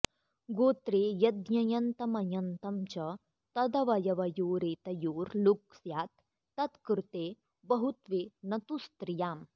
गोत्रे यद्यञन्तमञन्तं च तदवयवयोरेतयोर्लुक् स्यात्तत्कृते बहुत्वे न तु स्त्रियाम्